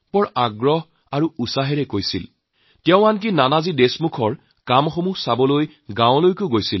গভীৰ আন্তৰিকতাৰে তেওঁ সেই কৰ্মসূচীৰ উল্লেখ কৰিছিল আৰু তেওঁ নিজেও নানাজীৰ এই কাম স্বচক্ষে চাবলৈ গাঁৱলৈ গৈছিল